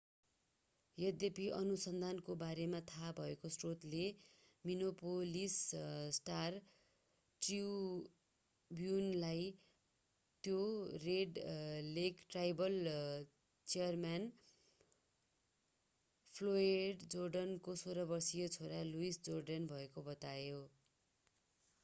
यद्यपि अनुसन्धानको बारेमा थाहा भएको स्रोतले मिनेपोलिस स्टार-ट्रिब्युनलाई त्यो red lake tribal chairman Floyd जोर्डेनको 16-वर्षे छोरा लुइस जोर्डन भएको बतायो